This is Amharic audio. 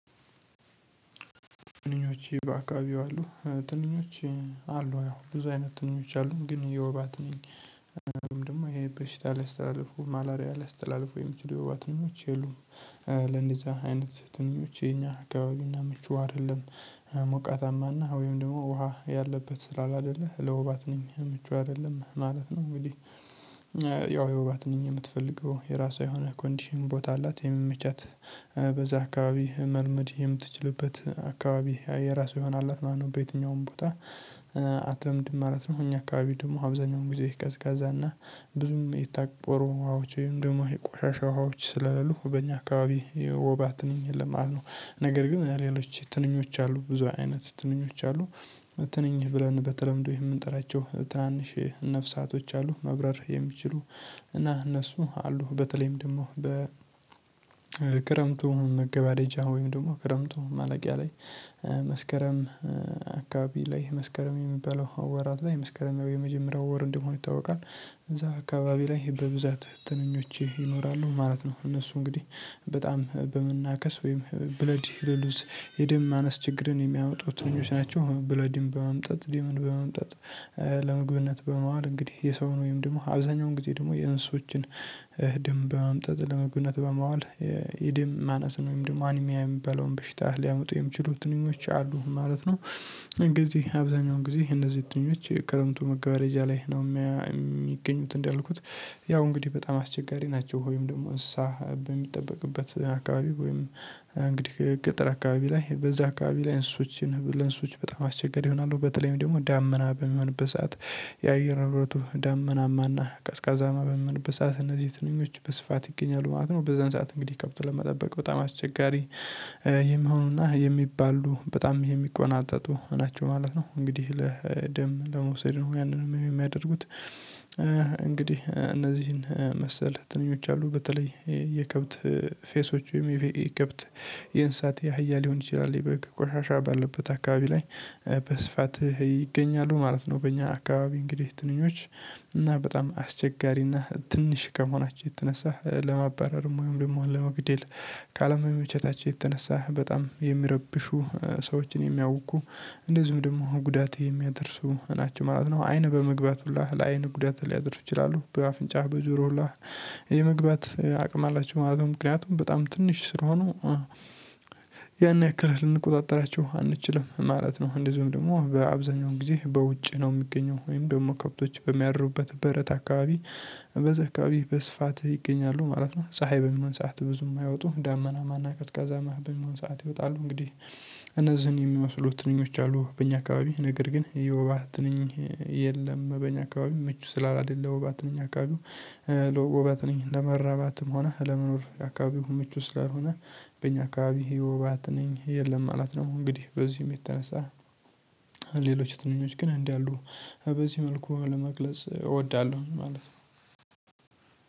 ትንኞች በአካባቢው አሉ ትንኞች አሉ ብዙ አይነት ትንኞች አሉ ግን የወባ ትንኝ ደግሞ ይሄ በሽታ ሊያስተላልፉ ማላሪያ ላይ ሊያስተላልፉ የሚችሉ የወባ ትንኞች የሉም። ለእንደዚያ አይነት ትንኞች የኛ አካባቢና ምቹ አይደለም ሞቃታማና ወይም ደሞ ውሃ ያለበት ስላላደለ ለውባት ነኝ ምቹ አይደለም ማለት ነው። እንግዲህ ያው የወባ ትንኝ የምትፈልገው የራሷ የሆነ ኮንዲሽን ቦታ አላት የሚመቻት። በዛ አካባቢ መልመድ የምትችልበት አካባቢ የራሷ የሆነ አላት ማለት ነው። በየትኛውም ቦታ አትለምድም ማለት ነው። እኛ አካባቢ ደሞ አብዛኛውን ጊዜ ቀዝቃዛ እና ብዙም የታቆሩ ውሃዎች ወይም ደሞ የቆሻሻ ውሃዎች ስለሌሉ በእኛ አካባቢ የወባ ትንኝ የለም ማለት ነው። ነገር ግን ሌሎች ትንኞች አሉ ብዙ አይነት ትንኞች አሉ። ትንኝ ብለን በተለምዶ የምንጠራቸው ትናንሽ ነፍሳቶች አሉ መብረር የሚችሉ። እና እነሱ አሉ በተለይም ደግሞ በ ክረምቱ መገበያደጃ ወይም ደሞ ክረምቱ ማለቂያ ላይ መስከረም አካባቢ ላይ መስከረም የሚባለው ወራት ላይ መስከረም የመጀመሪያው ወር እንደሆነ ይታወቃል። እዛ አካባቢ ላይ በብዛት ትንኞች ይኖራሉ ማለት ነው። እነሱ እንግዲህ በጣም በመናከስ ወይም ብለድ ሪሉዝ የደም ማነስ ችግርን የሚያመጡት ትንኞች ናቸው። ብለድን በመምጠጥ ድምምን በመምጠጥ ለመግብነት በመዋል እንግዲህ የሰውን ወይም ደሞ አብዛኛውን ጊዜ ደሞ የእንስሶችን ደም በመምጠጥ ለምግብነት በማዋል የደም ማነስን ወይም ደሞ አኒሚያ የሚባለውን በሽታ ሊያመጡ የሚችሉ ትንኞች አሉ ማለት ነው። አብዛኛው ጊዜ እነዚህ ትንኞች ክረምቱ መገባደጃ ላይ ነው እሚገኙት እንዳልኩት። ያው እንግዲህ በጣም አስቸጋሪ ናቸው። ወይም ደግሞ እንስሳ በሚጠበቅበት አካባቢ ወይም እንግዲህ ገጠር አካባቢ ላይ በዛ አካባቢ ላይ እንስሶችን ለእንስሶች በጣም አስቸገሪ ይሆናሉ በተለይም ደሞ ዳመና በሚሆንበት ሰዓት። የአየር ንብረቱ ዳመናማና ቀዝቃዛማ በሚሆንበት ሰዓት እነዚህ ትንኞች በስፋት ይገኛሉ ማለት ነው። በዛን ሰዓት እንግዲህ ከብት ለመጠበቅ በጣም አስቸጋሪ የሚሆኑና የሚባሉ በጣም የሚቆናጠጡ ናቸው ማለት ነው። እንግዲህ ለደም ለመውሰድ ነው ያንን እሚያደርጉት። እንግዲህ እነዚህን መሰል ትንኞች አሉ በተለይ የከብት ፌሶች ወይም የከብት የእንሳት የአህያ ሊሆን ይችላል የበግ ቆሻሻ ባለበት አካባቢ ላይ በስፋት ይገኛሉ ማለት ነው። በእኛ አካባቢ እንግዲህ ትንኞች እና በጣም አስቸጋሪና ትንሽ ከመሆናቸው የተነሳ ለማባረር ወይም ደሞ ለመግደል ካለመመቸታቸው የተነሳ በጣም የሚረብሹ ሰዎችን የሚያውኩ እንደዚሁም ደግሞ ጉዳት የሚያደርሱ ናቸው ማለት ነው። አይን በመግባት ሁላ ለአይን ጉዳት ሊያደርግ ይችላሉ። በአፍንጫህ በጆሮ ሁላ የመግባት አቅም አላቸው ማለት ነው። ምክንያቱም በጣም ትንሽ ስለሆኑ ያን ያክል ልንቆጣጠራቸው አንችልም ማለት ነው። እንደዚሁም ደግሞ በአብዛኛው ጊዜ በውጭ ነው እሚገኘው ወይም ደግሞ ከብቶች በሚያድሩበት በረት አካባቢ በዛ አካባቢ በስፋት ይገኛሉ ማለት ነው። ፀሀይ በሚሆን ሰዓት ብዙም አይወጡም ዳመናማ እና ቀዝቃዛማ በሚሆን ሰዓት ይወጣሉ። እንግዲህ እነዚህን የሚመስሉ ትንኞች አሉ በእኛ አካባቢ ነገር ግን የወባ ትንኝ የለም በእኛ አካባቢ ምቹ ስላላደለ ለወባ ትንኝ አካባቢው ወባት ነኝ ለመራባትም ሆነ ለመኖር አካባቢው ምቹ ስላልሆነ በእኛ አካባቢ የወባ ትንኝ የለም ማለት ነው። እንግዲህ በዚህም የተነሳ ሌሎች ትንኞች ግን እንዳሉ በዚህ መልኩ ለመግለጽ እወዳለሁ ማለት ነው።